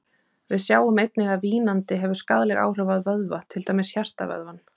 Við sjáum einnig að vínandi hefur skaðleg áhrif á vöðva, til dæmis hjartavöðvann.